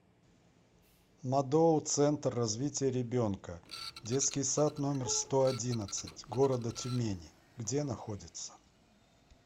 мадоу центр развития ребенка детский сад номер сто одиннадцать города тюмени где находится